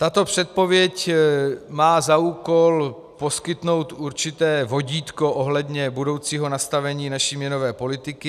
Tato předpověď má za úkol poskytnout určité vodítko ohledně budoucího nastavení naší měnové politiky.